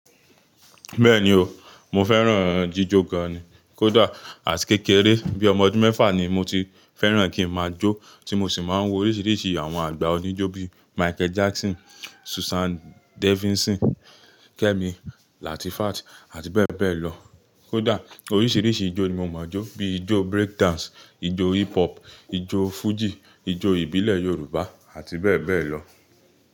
Bẹ́ẹ̀ni o, mo fẹ́ràn jíjò gan ni. Kódà àti kékeré bíi ọmọ ọdún mẹ́fà ni mo ti fẹ́ràn kí ma jó, tí mo sì máa ń wo oríṣiríṣi àwọn àgbà oníjó bíi Michael Jackson, Susan Davidson, Kemi Latifat àti bẹ́ẹ̀ bẹ́ẹ̀ lọ. Kódà oríṣiríṣi ijó ni mo máa ń jó bi ijó break dance, ijó hip hop, ijó fújì, ijó ìbílẹ̀ Yorùbá àti bẹ́ẹ̀ bẹ́ẹ̀ lọ.